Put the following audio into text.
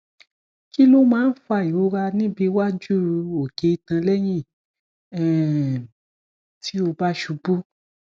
kí ló máa ń fa ìrora níbi waju oke itan lẹyìn um tí o ba ṣubú